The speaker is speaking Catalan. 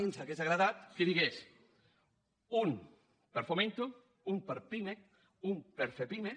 i ens hauria agradat que digués un per fomento un per pimec un per fepime